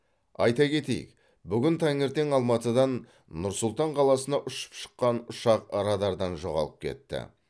айта кетейік бүгін таңертең алматыдан нұр сұлтан қаласына ұшып шыққан ұшақ радардан жоғалып кетті